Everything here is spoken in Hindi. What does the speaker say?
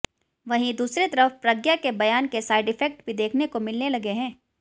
वहीं दूसरी तरफ प्रज्ञा के बयान के साइड इफ़ेक्ट भी देखने को मिलने लगे हैं